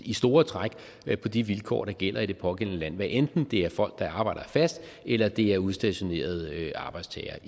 i store træk være på de vilkår der gælder i det pågældende land hvad enten det er folk der arbejder der fast eller det er udstationerede arbejdstagere